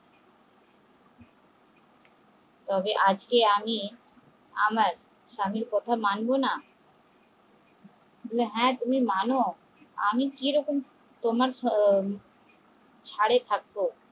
তবে আজকে আমি আমার স্বামীর কথা মানব না হ্যা মান আমি কিরকম তোমার থাকবো